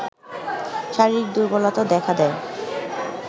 শারীরিক দুর্বলতা দেখা দেয়